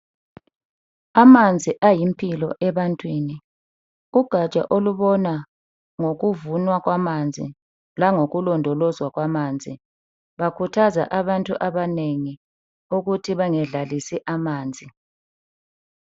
Amanzi ayimpilo ebantwini. Kugaja olubona ngokuvumwa kwamanzi langokulondolozwa kwamanzi bakhuthaza abantu abanengi ukuthi bangadlalisi amanzi.